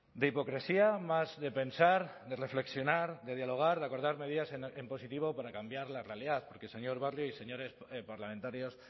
de hipocresía más de pensar de reflexionar de dialogar de acordar medidas en positivo para cambiar la realidad porque señor barrio y señores parlamentarios